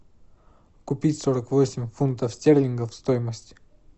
купить сорок восемь фунтов стерлингов стоимость